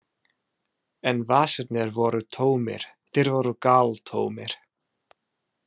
En vasarnir voru tómir, þeir voru galtómir.